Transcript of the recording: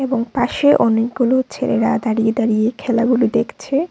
ও পাশে অনেকগুলো ছেলেরা দাঁড়িয়ে দাঁড়িয়ে খেলাগুলো দেখছে।